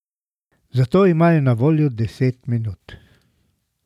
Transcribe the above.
Za to imajo na voljo deset minut.